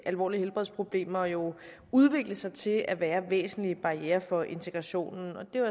alvorlige helbredsproblemer jo udvikle sig til at være væsentlige barrierer for integrationen og det er